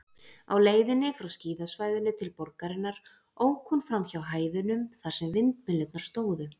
Á leiðinni frá skíðasvæðinu til borgarinnar ók hún framhjá hæðunum, þar sem vindmyllurnar stóðu.